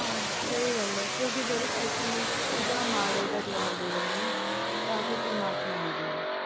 ਆਹੋ। ਸਹੀ ਗੱਲ ਏ ਕਿਉਂਕਿ ਜਦੋਂ ਅਸੀਂ ਉਹਦਾ ਮਾੜੇ ਦਾ ਜਵਾਬ ਦੇ ਦਿਨੇ ਆ ਨਾ ਤਾਂ ਫਿਰ ਪਰਮਾਤਮਾ ਨਈਂ ਦਿੰਦਾ।